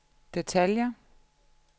detaljer